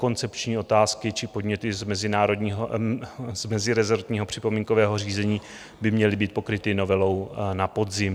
Koncepční otázky či podněty z mezirezortního připomínkového řízení by měly být pokryty novelou na podzim.